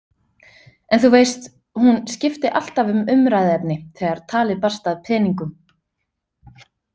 En þú veist, hún skipti alltaf um umræðuefni, þegar talið barst að peningum.